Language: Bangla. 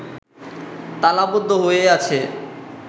তালাবদ্ধ হয়ে আছে